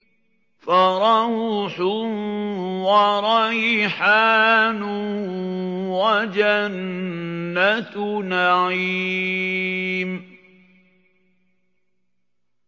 فَرَوْحٌ وَرَيْحَانٌ وَجَنَّتُ نَعِيمٍ